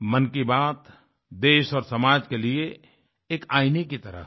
मन की बात देश और समाज के लिए एक आईने की तरह है